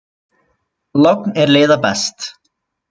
Logn er leiða best.